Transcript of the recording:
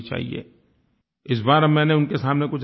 इस बार अब मैंने उनके सामने कुछ रखे हैं विषय